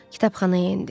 Kitabxanaya endi.